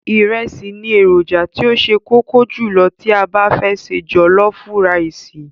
Ìrẹsì ni èròjà tí ó ṣe kókó jùlọ tí a bá fẹ́ se jọ̀lọ́fú raìsì.